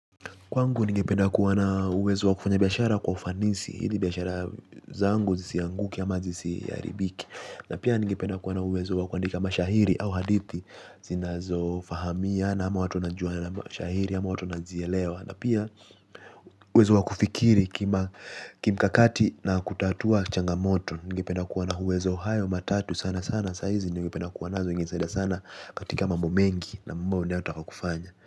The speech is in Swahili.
Kwangu ningependa kuwa na uwezo wa kufanya biashara kwa ufanisi, ili biashara zangu zisianguke ama zisiharibike. Na pia ningependa kuwa na uwezo wa kundika mashahiri au hadithi, zinazo fahamia na ama watu najua na mashahiri ama watu wanazielewa. Na pia uwezo wa kufikiri kimkakati na kutatua changamoto, ningependa kuwa na uwezo hayo matatu sana sana sahizi ningependa kuwa nazo ingenisaida sana katika mambo mengi na mambo ninayo taka kufanya.